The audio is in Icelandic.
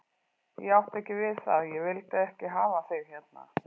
Ég átti ekki við það að ég vildi ekki hafa þig hérna.